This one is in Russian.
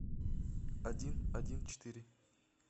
один один четыре